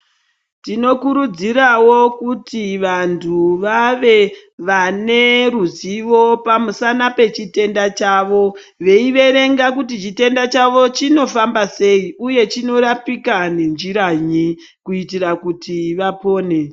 Tinokurudzirawo kuti vantu vave Vane ruzivo pamusana pechitenda chavo veiverenga kuti chitenda chavo chinofamba sei uye chinorapika nenjiranyi kuitira kuti vapone.